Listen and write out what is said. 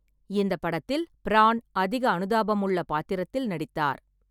இந்த படத்தில், பிரான் அதிக அனுதாபமுள்ள பாத்திரத்தில் நடித்தார்.